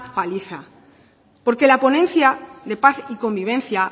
paliza porque la ponencia de paz y convivencia